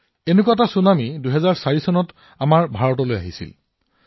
২০০৪ চনত ভাৰততো এনে এটা ছুনামি আহিছিল